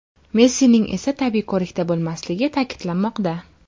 Messining esa tibbiy ko‘rikda bo‘lmasligi ta’kidlanmoqda.